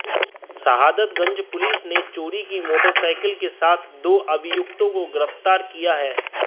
सहादत Ganj police ने चोरी की मोटरसाइकिल के साथ दो अभियुक्तों को गिरफ्तार किया है